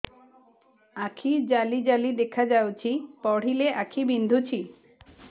ଆଖି ଜାଲି ଜାଲି ଦେଖାଯାଉଛି ପଢିଲେ ଆଖି ବିନ୍ଧୁଛି